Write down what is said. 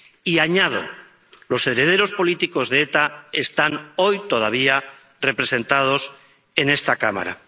Y —añado— los herederos políticos de ETA están hoy todavía representados en esta Cámara.